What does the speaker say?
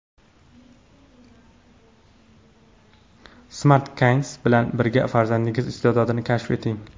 Smart Kids bilan birga farzandingiz iste’dodini kashf eting!.